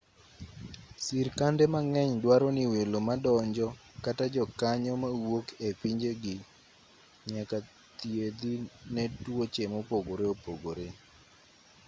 sirkande mang'eny duaro ni welo madonjo kata jokanyo mawuok e pinjegi nyaka thiedhi ne tuoche mopogore opogore